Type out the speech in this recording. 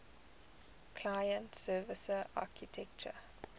client server architecture